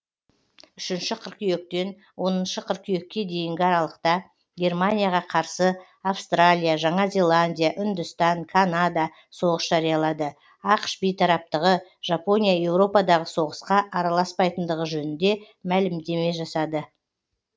үшінші қыркүйектен оныншы қыркүйекке дейінгі аралықта германияға қарсы австралия жаңа зеландия үндістан канада соғыс жариялады ақш бейтараптығы жапония еуропадағы соғысқа араласпайтындығы жөнінде мәлімдеме жасады